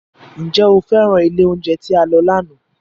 Ǹjẹ́ o féràn ilé oúnjẹ tí a lọ lánàá?